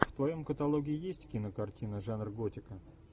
в твоем каталоге есть кинокартина жанр готика